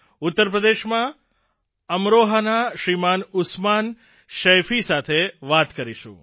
ઉત્તરપ્રદેશમાં અમરોહાના શ્રીમાન ઉસ્માન શૈખી સાથે વાત કરીશું